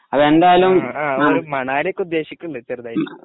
അ ആ മണലിയൊക്കെ ഉദ്ദേശിക്കുന്നുണ്ട് ചെറുതായിട്ട്